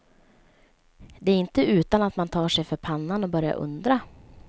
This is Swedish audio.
Det är inte utan att man tar sig för pannan och börjar undra.